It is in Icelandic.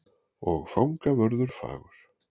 Og fangavörður fagur.